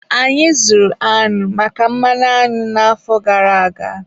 Anyị zụrụ añụ maka mmanụ añụ n'afọ gara aga